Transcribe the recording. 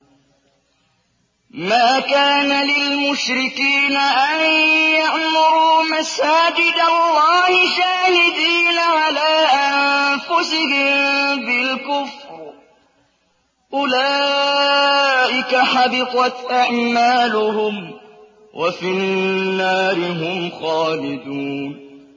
مَا كَانَ لِلْمُشْرِكِينَ أَن يَعْمُرُوا مَسَاجِدَ اللَّهِ شَاهِدِينَ عَلَىٰ أَنفُسِهِم بِالْكُفْرِ ۚ أُولَٰئِكَ حَبِطَتْ أَعْمَالُهُمْ وَفِي النَّارِ هُمْ خَالِدُونَ